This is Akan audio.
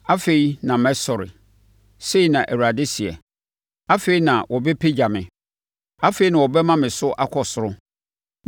“Afei na mɛsɔre,” sei na Awurade seɛ. “Afei na wɔbɛpagya me; afei na wɔbɛma me so akɔ soro.